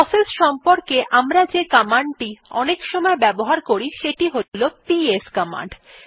process সম্পর্কে আমরা যে কমান্ডটি অনেকসময় ব্যবহার করি সেটি হলো পিএস কমান্ড